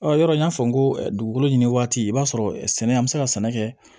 Ɔ yɔrɔ n y'a fɔ n ko dugukolo ɲini waati i b'a sɔrɔ sɛnɛ an mi se ka sɛnɛ kɛ